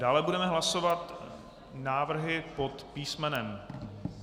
Dále budeme hlasovat návrhy pod písm.